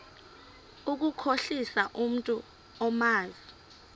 ukukhohlisa umntu omazi